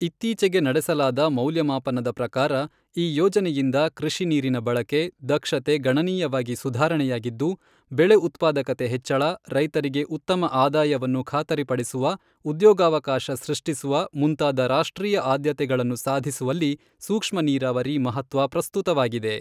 ಇತ್ತೀಚೆಗೆ ನಡೆಸಲಾದ ಮೌಲ್ಯಮಾಪನದ ಪ್ರಕಾರ ಈ ಯೋಜನೆಯಿಂದ ಕೃ಼ಷಿ ನೀರಿನ ಬಳಕೆ, ದಕ್ಷತೆ ಗಣನೀಯವಾಗಿ ಸುಧಾರಣೆಯಾಗಿದ್ದು, ಬೆಳೆ ಉತ್ಪಾದಕತೆ ಹೆಚ್ಚಳ, ರೈತರಿಗೆ ಉತ್ತಮ ಆದಾಯವನ್ನು ಖಾತರಿಪಡಿಸುವ, ಉದ್ಯೋಗಾವಾಕಾಶ ಸೃಷ್ಟಿಸುವ, ಮುಂತಾದ ರಾಷ್ಟ್ರೀಯ ಆದ್ಯತೆಗಳನ್ನು ಸಾಧಿಸುವಲ್ಲಿ ಸೂಕ್ಷ್ಮ ನೀರಾವರಿ ಮಹತ್ವ ಪ್ರಸ್ತುತವಾಗಿದೆ.